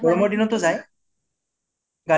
গৰমৰ দিনতু যায় গা